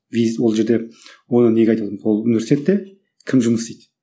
ол жерде оны неге айтып отырмын ол университетте кім жұмыс істейді